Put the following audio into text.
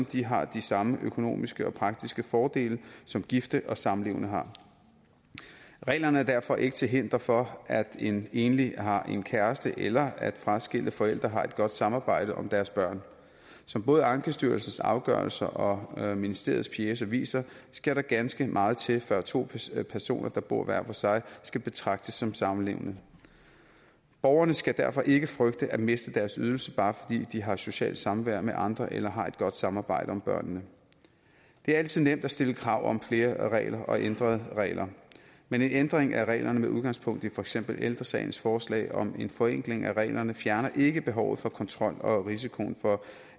de har de samme økonomiske og praktiske fordele som gifte og samlevende har reglerne er derfor ikke til hinder for at en enlig har en kæreste eller at fraskilte forældre har et godt samarbejde om deres børn som både ankestyrelsens afgørelser og ministeriets pjece viser skal der ganske meget til før to personer personer der bor hver for sig skal betragtes som samlevende borgerne skal derfor ikke frygte at miste deres ydelse bare fordi de her socialt samvær med andre eller har et godt samarbejde om børnene det er altid nemt at stille krav om flere regler og ændrede regler men en ændring af reglerne med udgangspunkt i for eksempel ældre sagens forslag om en forenkling af reglerne fjerner ikke behovet for kontrol og risikoen for